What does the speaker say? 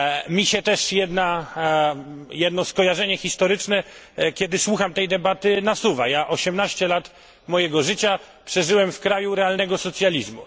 Mi się też jedno skojarzenie historyczne, kiedy słucham tej debaty, nasuwa. Ja osiemnaście lat mojego życia przeżyłem w kraju realnego socjalizmu.